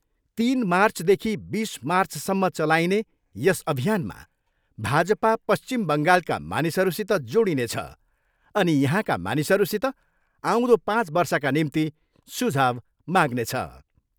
तिन मार्चदखि बिस मार्चसम्म चलाइने यस अभियानमा भाजपा पश्चिम बङ्गालका मानिसहरूसित जोडिनेछ अनि यहाँका मानिसहरूसित आउँदो पाँच वर्षका निम्ति सुझाउ माग्नेछ।